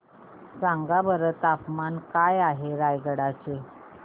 सांगा बरं तापमान काय आहे रायगडा चे